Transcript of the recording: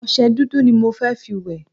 Ọṣẹ dúdú ni mo fẹ́ fi wẹ̀.